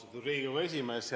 Austatud Riigikogu esimees!